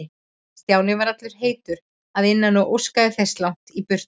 Stjáni var allur heitur að innan og óskaði sér langt í burtu.